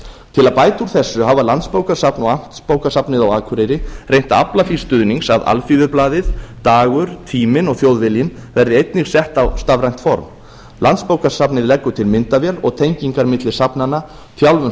til að bæta úr þessu hafa landsbókasafn og amtsbókasafnið á akureyri reynt að afla því stuðnings að alþýðublaðið dagur tíminn og þjóðviljinn verði einnig sett á stafrænt form landsbókasafnið leggur til myndavél tengingar milli safnanna þjálfun